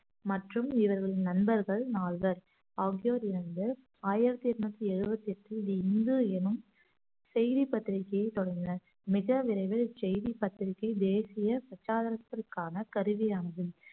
மற்றும் இவர்களின் நண்பர்கள் நால்வர் ஆகியோர் இருந்து ஆயிரத்தி எட்நூத்தி எழுபத்தி எட்டில் தி இந்து எனும் செய்தி பத்திரிகையை தொடங்கினார் மிக விரைவில் செய்தி பத்திரிகை தேசிய பிரச்சாரத்திற்கான கருவியாகும்